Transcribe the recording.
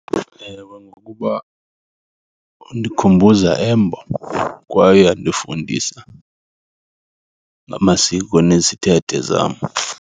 Ewe, ngokuba undikhumbuza embo kwaye uyandifundisa ngamasiko nezithethe zam.